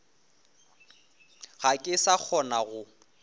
ga ke sa kgona go